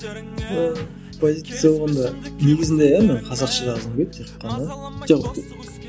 ыыы позиция болғанда негізінде иә мен қазақша жазғым келеді тек қана жоқ